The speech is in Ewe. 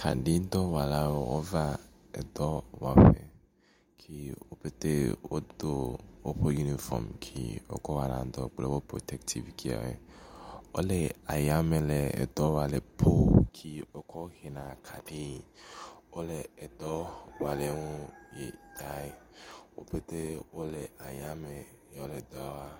Kaɖidɔwɔlawo wova edɔ wɔƒe ke wo pɛte wodo woƒe unifɔm ke wokɔ wɔna dɔ kple wɔ protetivu ke woe. Wo le aya me le dɔ wɔa le pol uke wokɔ hena kaɖi. wo le dɔ wɔa le nu. yi tae wo pɛtɛ wo le aya me ye wo le dɔa wɔa.